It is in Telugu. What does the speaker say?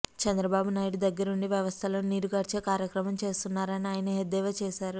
చంద్రబాబు నాయుడు దగ్గరుండి వ్యవస్థలను నీరుగార్చే కార్యక్రమం చేస్తున్నారని ఆయన ఎద్దేవా చేశారు